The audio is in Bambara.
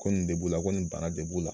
Ko nin de b'u la, ko nin bana de b'u la.